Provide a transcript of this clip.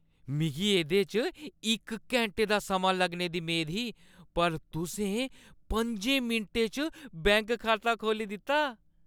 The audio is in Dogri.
मिगी एह्दे च इक घैंटे दा समां लग्गने दी मेद ही पर तुसें पं'जें मिंटें च बैंक खाता खोह्‌ल्ली दित्ता ।